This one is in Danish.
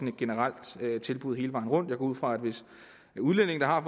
et generelt tilbud hele vejen rundt ud fra at hvis udlændinge der har